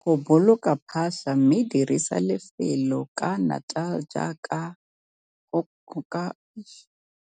Go boloka phatlha mme dirisa lefelo ka natal jaaka go ka kgonegwa.